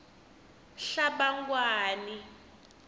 hlabangwani